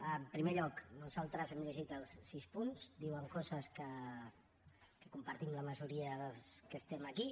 en primer lloc nosaltres hem llegit els sis punts diuen coses que compartim la majoria dels que estem aquí